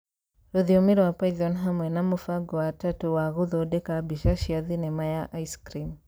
rũthiomi rwa Python hamwe na mũbango wa Turtle wa gũthondeka mbica cia thenema ya ice cream